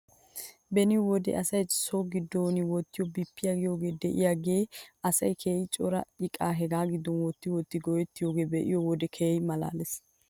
Beni wode asay so giddon wottiyoo bippiyaa giyoogee de'iyaagan asay keehi cora iqaa hegaa giddon wotti wotti go'ettiyoogaa be'iyoo wodiyan keehi malaales.